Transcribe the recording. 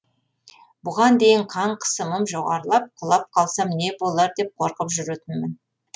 бұған дейін қан қысымым жоғарылып құлап қалсам не болар деп қорқып жүретінмін